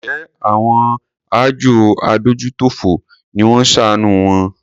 Njẹ àwọn àjọ adójútòfò ni wón ṣàánù wọn?